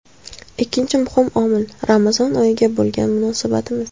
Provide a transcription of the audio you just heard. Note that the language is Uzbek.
Ikkinchi muhim omil Ramazon oyiga bo‘lgan munosabatimiz.